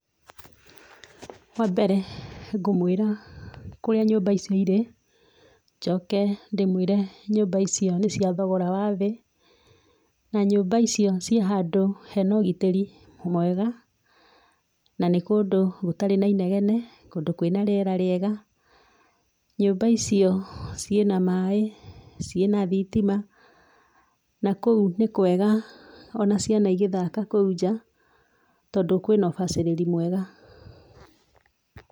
Wambere ngũmũĩra kũrĩa nyũmba icio irĩ, njoke ndĩmũĩre nyũmba icio nĩ cia thogora wa thĩ, na nyũmba icio ciĩ handũ hena ũgitĩri mwega, na nĩ kũndũ gũtarĩ na inegene na nĩ kũndũ kwĩna rĩera rĩega, nyũmba icio ciĩna maaĩ, ciĩna thitima, na kũu nĩ kwega ona ciana igĩthaka kũu nja, tondũ kwĩna ũbacĩrĩri mwega.